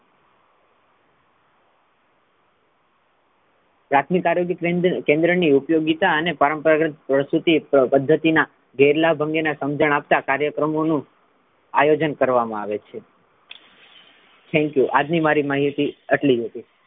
પ્રાથમિક આરોગ્ય કેન્દ્ર ની ઉપયોગીતા અને પરંપરાંતગત રીતે પ્રસુર્તી પદ્ધતિના ભેરલા ભંગેનાં સમજણ આપતા કાર્યક્રમો નુ આયોજન કરવામા આવે છે Thank you આજની મારી માહિતી આટલી જ હતી.